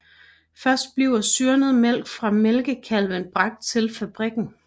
Først bliver syrnet mælk fra mælkekalve bragt til fabrikken